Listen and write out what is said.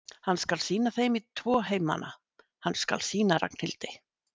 Hann skal sýna þeim í tvo heimana, hann skal sýna Ragnhildi